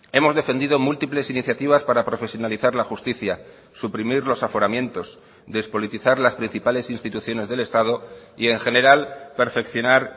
hemos defendido múltiples iniciativas para profesionalizar la justicia suprimir los aforamientos despolitizar las principales instituciones del estado y en general perfeccionar